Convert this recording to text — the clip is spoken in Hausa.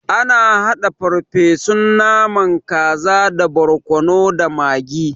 Ana haɗa farfesun naman kaza da borkono da magi.